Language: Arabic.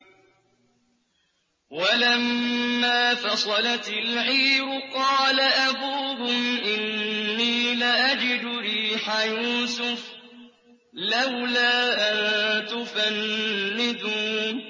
وَلَمَّا فَصَلَتِ الْعِيرُ قَالَ أَبُوهُمْ إِنِّي لَأَجِدُ رِيحَ يُوسُفَ ۖ لَوْلَا أَن تُفَنِّدُونِ